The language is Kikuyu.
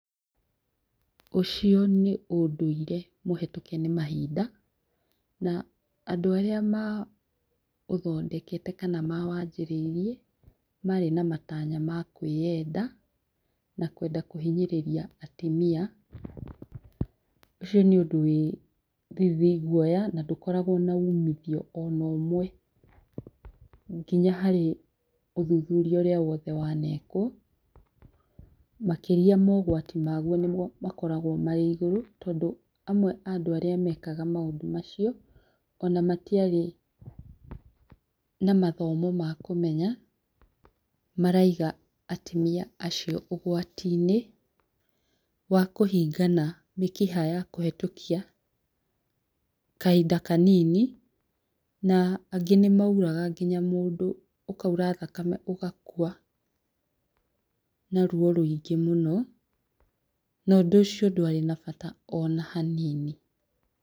Ũcio nĩ ũndũire mũhetũKe nĩ mahinda. Na andũ arĩa ma ũthondekete kana ma wanjĩrĩirie marĩ na matanya ma kwĩyenda na kwenda kũhinyĩrĩria atumia. Ũcio nĩ ũndũ wĩ thithi, guoya na ndũkoragwo na ũmithio ona ũmwe, nginya harĩ ũthuthuria wothe wanekwo, makĩria mogwati maguo nĩguo makoragwo marĩ igũrũ. Tondũ amwe arĩa mekaga maũndũ macio ona matiarĩ na mathomo ma kũmenya, maraiga atumia acio ũgwati-inĩ wakũhingana mĩkiha ya kũhetũkia kahinda kanini na angĩ nĩ mauraga nginya mũndũ, ũkaura thakame ũgakua na ruo rũingĩ mũno. Na ũndũ ũcio ndwarĩ na bata ona hanini.